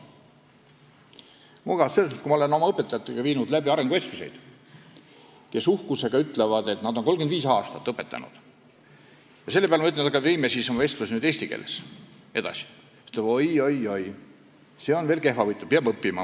Selles mõttes, et kui ma pean arenguvestlust oma õpetajaga, siis ta uhkusega ütleb, et ta on 35 aastat õpetanud, ja kui mina selle peale ütlen, et vestleme nüüd eesti keeles edasi, siis tema ütleb, et oi-oi-oi, see eesti keel on mul veel kehvavõitu, ma pean õppima.